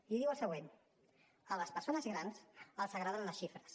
i diu el següent a les persones grans els agraden les xifres